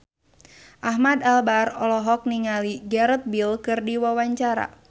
Ahmad Albar olohok ningali Gareth Bale keur diwawancara